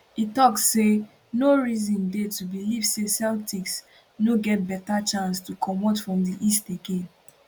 e tok say no reason dey to believe say celtics no get beta chance to comot from di east again